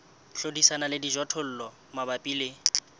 hlodisana le dijothollo mabapi le